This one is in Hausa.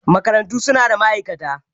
Makarantu su na da ma'aikata.